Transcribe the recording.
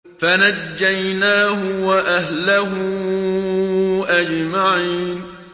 فَنَجَّيْنَاهُ وَأَهْلَهُ أَجْمَعِينَ